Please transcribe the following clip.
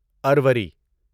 اروری